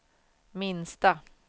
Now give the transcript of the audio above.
minsta